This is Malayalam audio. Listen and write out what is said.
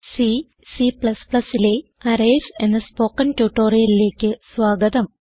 സി C ലെ അറേയ്സ് എന്ന സ്പോകെൻ ട്യൂട്ടോറിയലിലേക്ക് സ്വാഗതം